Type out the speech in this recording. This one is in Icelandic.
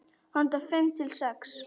Handa fimm til sex